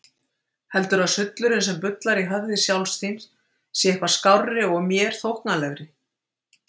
Heldurðu að sullurinn sem bullar í höfði sjálfs þín sé eitthvað skárri og mér þóknanlegri?